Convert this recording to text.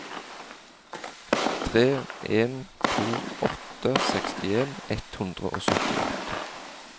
tre en to åtte sekstien ett hundre og syttiåtte